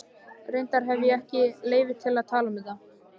Reyndar hefi ég ekki leyfi til að tala um þetta.